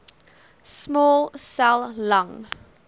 small cell lung